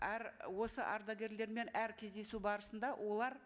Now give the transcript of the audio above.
әр осы ардагерлермен әр кездесу барысында олар